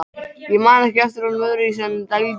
Ég man ekki eftir honum öðruvísi en dælduðum.